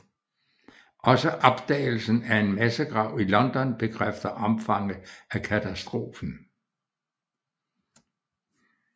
Også opdagelsen af en massegrav i London bekræfter omfanget af katastrofen